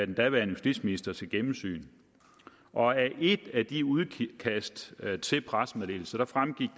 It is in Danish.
den daværende justitsminister til gennemsyn og af et af de udkast til pressemeddelelse fremgik